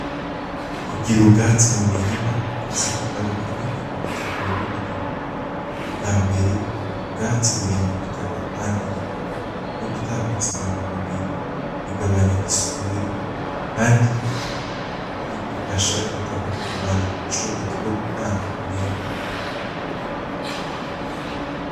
Kugira ubwatsi mumurima bifise akamaro kanini kubutaka nuburimyi. Ubwambere ubwatsi burinda ubutaka kwangirika no gutakaza intunga mubiri bigabanya isuri kandi bigufasha ubutaha kugumana ubushobozi bwo gutanga umwimbu.